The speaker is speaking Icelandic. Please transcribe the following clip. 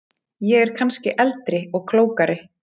Ég er kannski eldri og klókari.